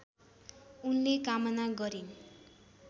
उनले कामना गरिन्